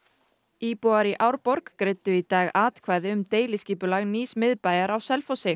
íbúar í Árborg greiddu í dag atkvæði um deiliskipulag nýs miðbæjar á Selfossi